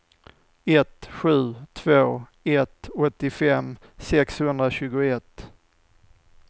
ett sju två ett åttiofem sexhundratjugoett